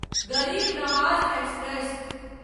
गरीब नवाज एक्सप्रेस